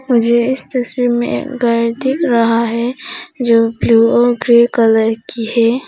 मुझे इस तस्वीर में घर दिख रहा है जो ब्लू और ग्रे कलर की है।